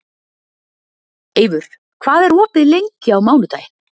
Eivör, hvað er opið lengi á mánudaginn?